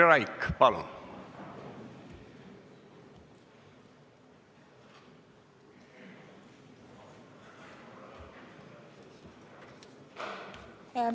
Katri Raik, palun!